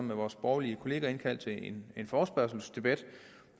med vores borgerlige kolleger indkaldt til en forespørgselsdebat